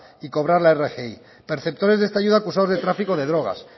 y cobrar la rgi perceptores de esta ayuda acusados de tráfico de drogas